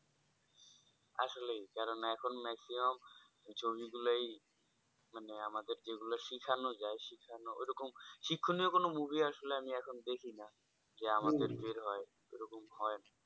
আসলেই যারা না এখন maximum ছবি গুলোই মানে আমাদের যে গুলো শিখানো যাই ওই রকম শিক্ষণীয় কোনো movie আসলে আমি এখন দেখি না যে আমাদের ভিড় হয় ওরকম হয়